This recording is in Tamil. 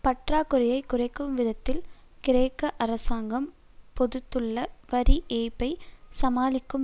பற்றாக்குறையை குறைக்கும் விதத்தில் கிரேக்க அரசாங்கம் பெருத்துள்ள வரி ஏய்ப்பை சமாளிக்கும்